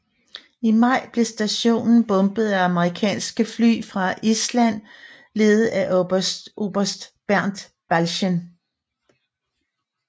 I maj blev stationen bombet af amerikanske fly fra Island ledet af oberst Bernt Balchen